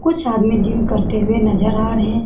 कुछ आदमी जिम करते हुए नजर आ रहे हैं।